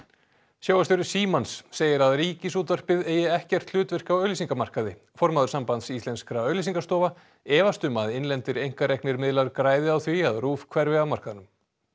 sjónvarpsstjóri Símans segir að Ríkisútvarpið eigi ekkert hlutverk á auglýsingamarkaði formaður Sambands íslenskra auglýsingastofa efast um að innlendir einkareknir miðlar græði á því að RÚV hverfi af markaðnum